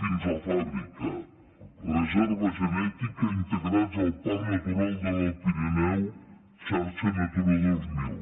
fins a la fàbrica reserva genètica integrats al parc natural de l’alt pirineu xarxa natura dos mil